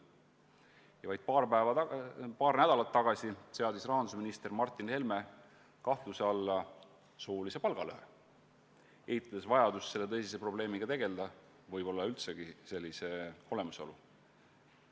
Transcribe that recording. Ja vaid paar nädalat tagasi seadis rahandusminister Martin Helme kahtluse alla soolise palgalõhe, eitades vajadust selle tõsise probleemiga tegelda, võib-olla eitades üldse selle olemasolu.